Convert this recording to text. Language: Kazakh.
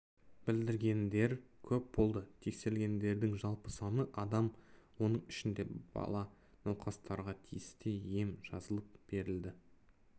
білдіргендер көп болды тексерілгендердің жалпы саны адам оның ішінде бала науқастарға тиісті ем жазылып берілді